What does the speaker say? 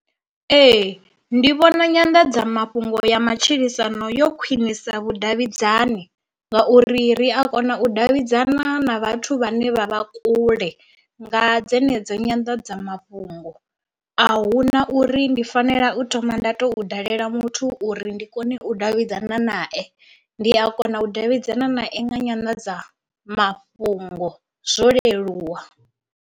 Ee, ndi vhona nyanḓadzamafhungo ya matshilisano yo khwinisa vhudavhidzani ngauri ri a kona u davhidzana na vhathu vhane vha vha kule nga dzenedzo nyanḓadzamafhungo, a hu na uri ndi fanela u thoma nda to dalela muthu uri ndi kone u davhidzana nae ndi a kona u davhidzana nae nga nyanḓadzamafhungo zwo leluwa.